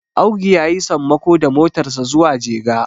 Audu ya yi sammako da motarsa zuwa jega